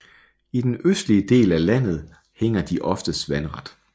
I den østlige del af landet hænger de oftest vandret